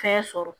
Fɛn sɔrɔ